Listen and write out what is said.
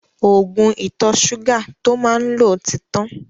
Ògùn ìtọ̀ ṣúgà tó má ń lò ti tán